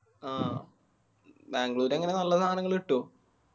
ആ ബാംഗ്ലൂർ എങ്ങനെ നല്ല സാനങ്ങള് കിട്ടോ?